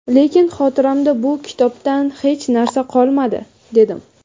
lekin xotiramda bu kitobdan hech narsa qolmadi, dedim.